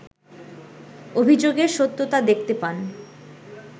অভিযোগের সত্যতা দেখতে পান